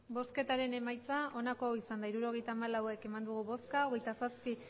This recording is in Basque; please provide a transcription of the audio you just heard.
bozketaren emaitza onako izan da hirurogeita hamabost eman dugu bozka hogeita zazpi